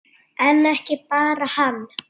En ekki bara hann.